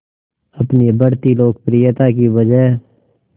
अपनी बढ़ती लोकप्रियता की वजह